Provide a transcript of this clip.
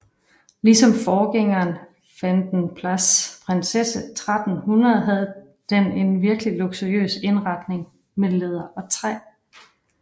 Ligesom forgængeren Vanden Plas Prinsesse 1300 havde den en virkelig luksuriøs indretning med læder og træ